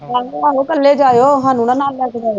ਆਹੋ ਇਕੱਲੇ ਜਾਇਓ ਸਾਨੂੰ ਨਾ ਨਾਲ ਲੈ ਕੇ ਜਾਇਓ